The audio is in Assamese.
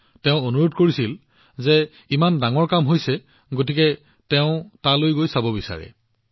তেওঁ মোক বহুত অনুৰোধ কৰিছিল যে আপুনি ইমান ভাল কাম কৰিছে সেয়েহে মই তালৈ গৈ চাব বিচাৰো